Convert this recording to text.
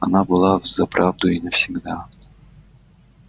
она была взаправду и навсегда